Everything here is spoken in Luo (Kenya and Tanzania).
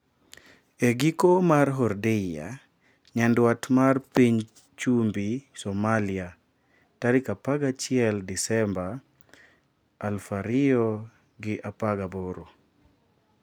e giko mar Hordeia nyandwat mar piny chumbi Somalia, 11 Disemba 2018.